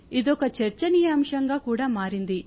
ఇదొక చర్చనీయాంశంగా కూడా మారింది